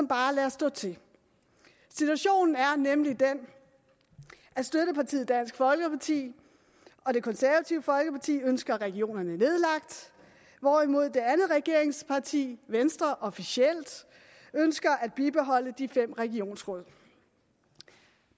bare lader stå til situationen er nemlig den at støttepartiet dansk folkeparti og det konservative folkeparti ønsker regionerne nedlagt hvorimod det andet regeringsparti venstre officielt ønsker at bibeholde de fem regionsråd